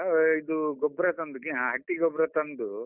ಇದು ಗೊಬ್ರ ತಂದು ಹಟ್ಟಿ ಗೊಬ್ರ ತಂದು.